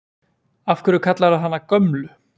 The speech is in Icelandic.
Af hverju kallarðu hana Gömlu?